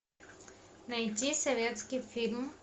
найти советский фильм